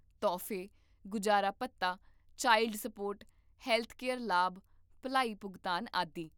ਤੋਹਫ਼ੇ, ਗੁਜਾਰਾ ਭੱਤਾ, ਚਾਈਲਡ ਸਪੋਰਟ, ਹੈਲਥਕੇਅਰ ਲਾਭ, ਭਲਾਈ ਭੁਗਤਾਨ, ਆਦਿ